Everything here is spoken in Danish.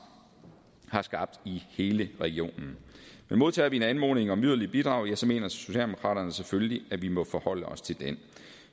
har skabt i hele regionen men modtager vi en anmodning om yderligere bidrag ja så mener socialdemokraterne selvfølgelig at vi må forholde os til den